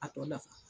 A tɔ dafa